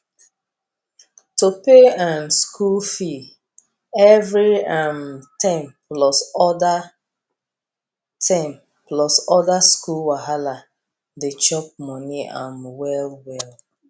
to pay um school fee every um term plus other term plus other school wahala dey chop money um wellwell